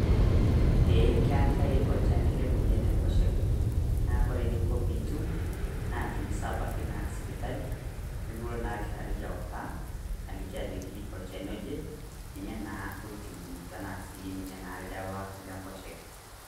Eeh keetai olchani le moyian enkosheke, naa kore ninko piitum naa tinisabaki naa sipital. Nikiloo naa iltaari autaa aliki ajoki olchani oje ninye naa otibu tana sii ninye naa ldewa le nkosheke.